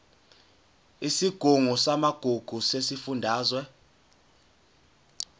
isigungu samagugu sesifundazwe